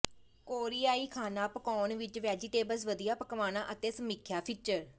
ਕੋਰੀਆਈ ਖਾਣਾ ਪਕਾਉਣ ਵਿਚ ਵੈਜੀਟੇਬਲਜ਼ ਵਧੀਆ ਪਕਵਾਨਾ ਅਤੇ ਸਮੀਖਿਆ ਫੀਚਰ